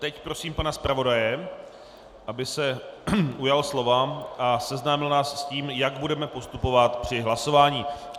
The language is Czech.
Teď prosím pana zpravodaje, aby se ujal slova a seznámil nás s tím, jak budeme postupovat při hlasování.